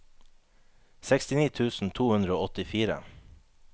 sekstini tusen to hundre og åttifire